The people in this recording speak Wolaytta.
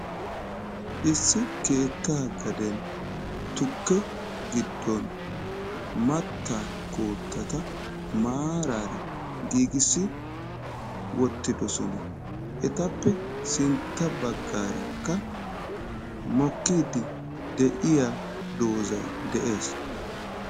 Issi keettaa gaden tukke giddon mattaa koottata maaraara giigissi wottodosona. Etappe sintta baggaarakka mokkiiddi de'iya dozay de'ees.